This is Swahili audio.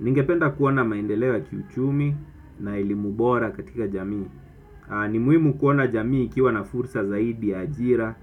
Ningependa kuona maendeleo ya kiuchumi na eilimu bora katika jamii. Ni muhimu kuona jamii ikiwa na fursa zaidi, ajira,